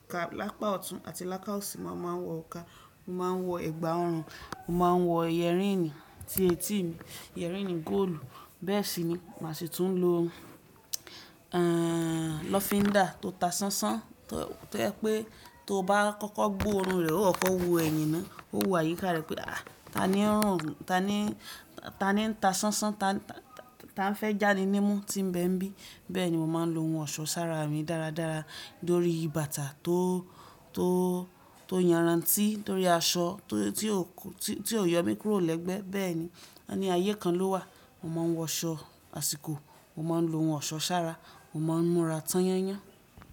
Ìka lápá ọ̀tún àti láká òsì, mo máa ń wọ òrùka, mo máa ń wọ ẹ̀gbà ọrùn, mo máa ń wọ yẹ̀rínì sí etí mi, yẹ̀rínì góòlù. Bẹ́ẹ̀ sì ni màá sì tún lo, e, lọ́findà tó ta sánsán, tó yẹ pé tó bá kọ́kọ́ gbó ọrùn rẹ̀, ó kọ́ wo ẹ̀yìn náà, ó wù àyíká rẹ̀ pé, à, ta ni ń rùn, ta ni, ta ni ń ta sánsán, ta, ta, ta ń fẹ́ jáni nímú tí ń bẹ ń bí. Bẹ́ẹ̀ ni mo máa ń lo ohun ọ̀ṣọ́ sára mi dáradára lórí bàtà tó, tó, tó yànrántí, lórí aṣọ tó, tí ò ku-- tí ò yọ mí kúrò lẹ́gbẹ́. Bẹ́ẹ̀ ni. Wọ́n ní ayé kan ló wà. Mo máa ń wọ aṣọ àsìkò, mo máa ń lo ohun ọ̀ṣọ́ sára, mo máa ń múra tányányán.